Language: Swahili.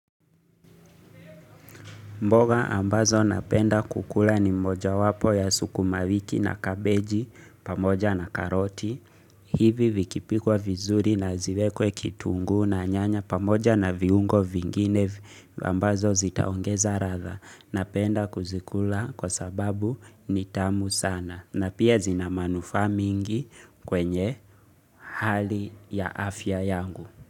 Mboga ambazo napenda kukula ni mmoja wapo ya sukuma wiki na kabeji pamoja na karoti. Hivi vikipikwa vizuri na ziwekwe kitungu na nyanya pamoja na viungo vingine ambazo zitaongeza ratha. Napenda kuzikula kwa sababu nitamu sana. Na pia zinamanufaa mingi kwenye hali ya afya yangu.